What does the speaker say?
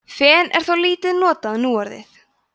fen er þó lítið notað núorðið